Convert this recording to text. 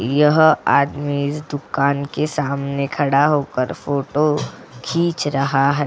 यह आदमी इस दुकान के सामने खड़ा होकर फोटो खींच रहा है।